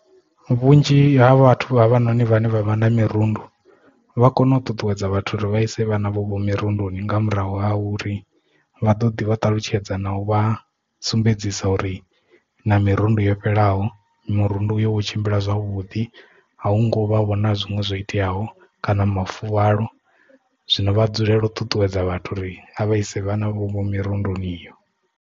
Vhunzhi ha vhathu ha vha noni vhane vha vha na mirundu vha kone u ṱuṱuwedza vhathu uri vha ise vhana vhavho mirundoni nga murahu ha uri vha ḓo ḓi vha ṱalutshedza na u vha sumbedzisa uri na mirundu yo fhelelaho murundu uyo wo tshimbila zwavhuḓi a hu ngo vha vhona zwinwe zwo iteaho kana mafuvhalo zwino vha dzulele u ṱuṱuwedza vhathu uri vha ise vha na vho mirundoni iyo.